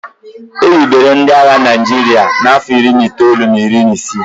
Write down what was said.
e hibere ndị agha Naijiria n'afọ iri na itoolu na iri isii